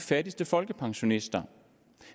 fattigste folkepensionister